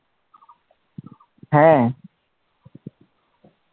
হ্যাঁ